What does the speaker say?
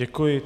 Děkuji.